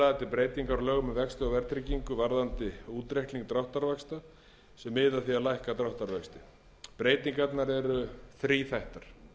breytingar á lögum um vexti og verðtryggingu varðandi útreikning dráttarvaxta sem miða að því að lækka dráttarvexti breytingarnar eru þríþættar